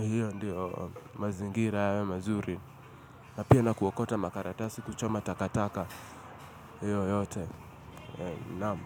hiyo ndio mazingira yawe mazuri na pia na kuokota makaratasi kuchoma takataka hiyo yote naam.